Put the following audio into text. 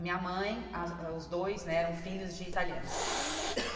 Minha mãe, ah eh os dois né eram filhos de italianos.